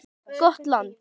Gott land.